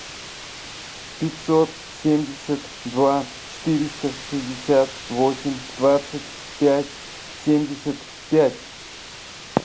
пятьсот семьдесят два четыреста шестьдесят восемь двадцать пять семьдесят пять